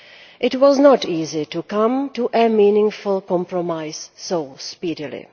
It was not easy to come to a meaningful compromise so speedily.